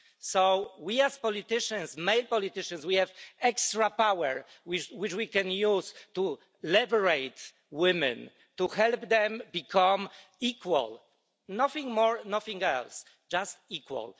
So we as politicians, male politicians, have extra power which we can use to liberate women, to help them become equal nothing more, nothing less just equal.